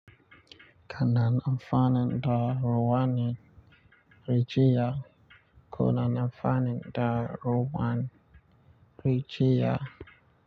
Kana amfanin daruwanin rijiya. Kuna amfanin daruwan rijiya.